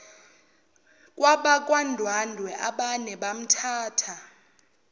kwabakwandwandwe abamane bamthatha